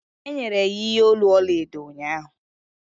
e nyere ya ihe olu ọla edo ụnyahụ